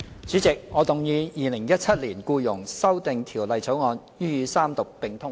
主席，我動議《2017年僱傭條例草案》予以三讀並通過。